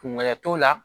Kungɛlɛya t'o la